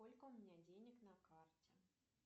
сколько у меня денег на карте